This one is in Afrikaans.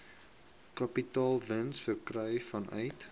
kapitaalwins verkry vanuit